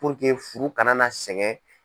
furu kana na sɛgɛn.